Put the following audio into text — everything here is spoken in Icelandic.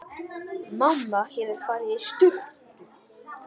Mamma hefur farið í sturtu.